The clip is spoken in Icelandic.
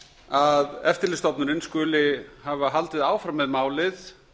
að eftirlitsstofnunin skuli hafa haldið áfram með málið